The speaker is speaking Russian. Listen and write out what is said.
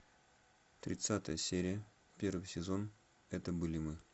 тридцатая серия первый сезон это были мы